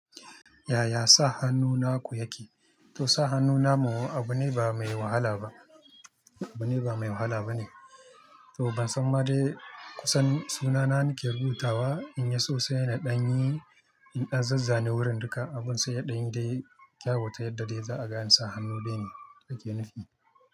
Yaya sa hannu na ku yake? To sa hannu na mu abu ne ba mai wahala ba, abu ne ba mai wahala ba ne. To ban san ma dai kusan sunana nake rubutawa in ya so sai na ɗanyi, in na zazzane wurin duka abun sai ya ɗanyi dai kyawu ta yadda dai za a ga ne sa hannu dai ne yake nufi.